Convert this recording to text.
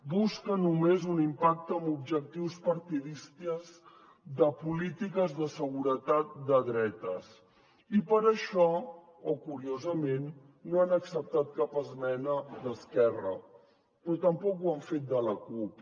busca només un impacte amb objectius partidistes de polítiques de seguretat de dretes i per això o curiosament no han acceptat cap esmena d’esquerra però tampoc ho han fet de la cup